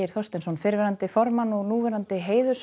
Þorsteinsson fyrrverandi formann og núverandi